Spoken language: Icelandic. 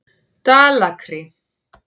Dalakri